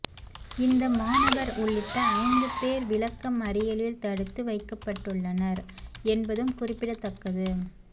இந்த மாணவர் உள்ளிட்ட ஐந்து பேர் விளக்க மறியலில் தடுத்து வைக்கப்பட்டுள்ளனர் என்பதும் குறிப்பிடத்தக்கது